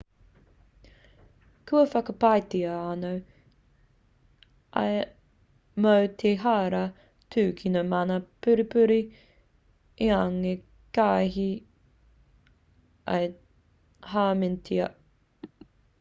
kua whakapaetia anō ia mō te hara tūkino mana pupuri engari kīhai ia i hāmenetia